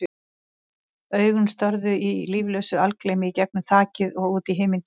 Augun störðu í líflausu algleymi í gegnum þakið og út í himingeiminn.